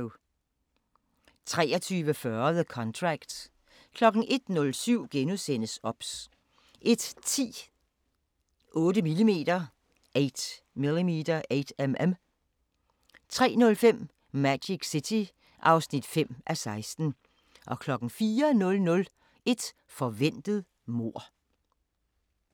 23:40: The Contract 01:07: OBS * 01:10: 8mm 03:05: Magic City (5:16) 04:00: Et forventet mord